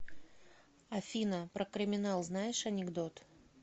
афина про криминал знаешь анекдот